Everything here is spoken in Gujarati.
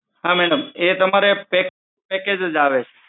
હા madam એ તમારે package જ આવે છે.